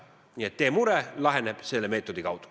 Nii et teie mure laheneb selle meetodi kaudu.